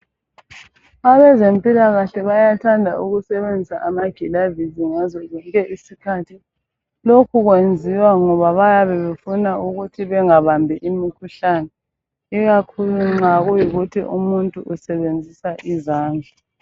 Abezempilakahle bayathanda ukusebenzisa amakilavisi ngaso zonke isikhathi lokhu kwenziwa ngoba bayabebefuna ukuthi bengabambi imikhuhlane ikakhulu nxa kuyikuthi umuntu usebenzisa izandla.